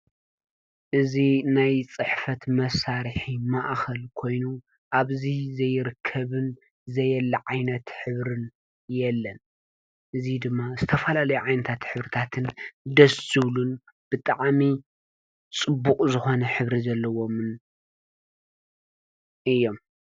እዝ ናይ ጽሕፈት መሣርሒ መኣኸል ኮይኑ ኣብዙ ዘይርከብን ዘየለዓይነት ኅብርን የለን እዙ ድማ እስተፋላ ለይ ዓይንታት ኅብርታትን ደዝብሉን ብጠዓሚ ጽቡቕ ዝኾነ ኅብሪ ዘለዎምን እዮም።